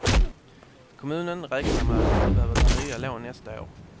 Kommunen räknar med att inte behöva ta nya lån nästa år.